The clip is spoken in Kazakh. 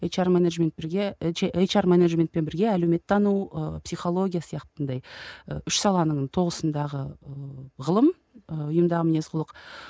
ейч ар менеджменттерге ейч ар менеджментпен бірге әлеуметтану ы психология сияқты андай ы үш саланың тоғысындағы ы ғылым ы ұйымдағы мінез құлық